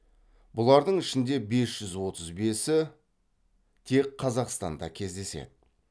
бұлардың ішінде бес жүз отыз бесі тек қазақстанда кездеседі